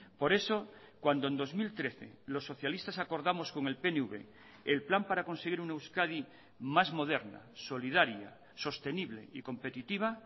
por eso cuando en dos mil trece los socialistas acordamos con el pnv el plan para conseguir una euskadi más moderna solidaria sostenible y competitiva